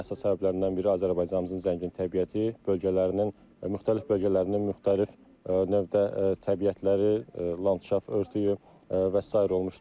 Bunun əsas səbəblərindən biri Azərbaycanımızın zəngin təbiəti, bölgələrinin, müxtəlif bölgələrinin müxtəlif növdə təbiətləri, landşaft örtüyü və sair olmuşdur.